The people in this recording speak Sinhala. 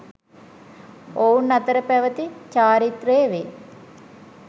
ඔවුන් අතර පැවති චාරිත්‍රය වේ